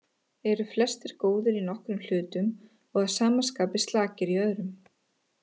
Eru flestir góðir í nokkrum hlutum og að sama skapi slakir í öðrum.